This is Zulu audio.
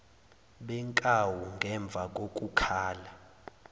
benkawu ngemva kokukhala